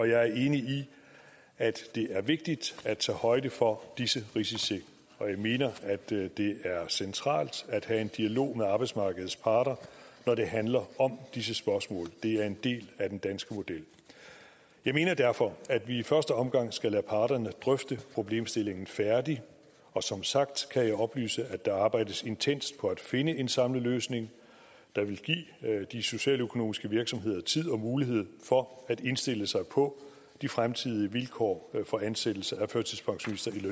jeg er enig i at det er vigtigt at tage højde for disse risici jeg mener at det er centralt at have en dialog med arbejdsmarkedets parter når det handler om disse spørgsmål det er en del af den danske model jeg mener derfor at vi i første omgang skal lade parterne drøfte problemstillingen færdig og som sagt kan jeg oplyse at der arbejdes intenst på at finde en samlet løsning der vil give de socialøkonomiske virksomheder tid og mulighed for at indstille sig på de fremtidige vilkår for ansættelse af førtidspensionister i